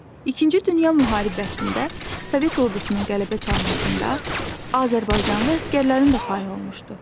İkinci Dünya müharibəsində Sovet ordusunun qələbə çalmasında azərbaycanlı əsgərlərin də payı olmuşdu.